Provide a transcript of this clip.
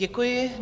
Děkuji.